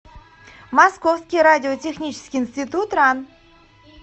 московский радиотехнический институт ран